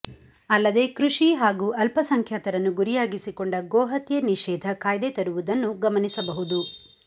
ಅಲ್ಲದೆ ಕೃಷಿ ಹಾಗೂ ಅಲ್ಪಸಂಖ್ಯಾತರನ್ನು ಗುರಿಯಾಗಿಸಿಕೊಂಡ ಗೋಹತ್ಯೆ ನಿಷೇಧ ಕಾಯ್ದೆ ತರುವುದನ್ನು ಗಮನಿಸಬಹುದು